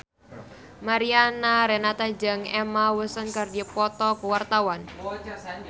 Mariana Renata jeung Emma Watson keur dipoto ku wartawan